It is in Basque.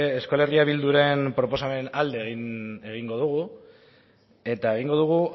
euskal herria bilduren proposamenaren alde egingo dugu eta egingo dugu